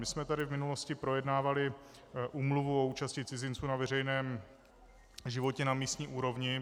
My jsme tady v minulosti projednávali úmluvu o účasti cizinců na veřejném životě na místní úrovni.